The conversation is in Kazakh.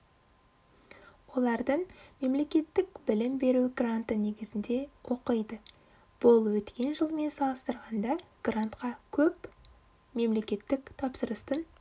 олардың мемлекеттік білім беру гранты негізінде оқиды бұл өткен жылмен салыстырғанда грантқа көп мемлекеттік тапсырыстың